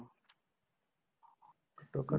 ਘੱਟੋ ਘੱਟ